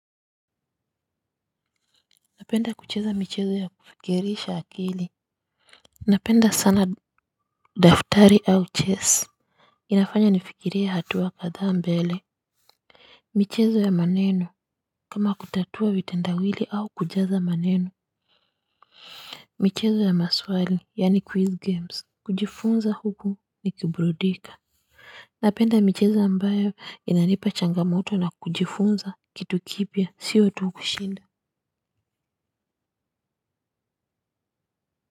Napenda kucheza michezo ya kufikirisha akili. Napenda sana daftari au chess. Inafanya nifikirie hatuwa kadhaa mbele. Michezo ya maneno kama kutatua vitendawili au kujaza maneno. Michezo ya maswali yani quiz games. Kujifunza huku nikiburudika. Napenda michezo ambayo inanipa changamoto na kujifunza kitu kipya sio tu kushinda Muzika.